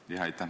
Jah, aitäh!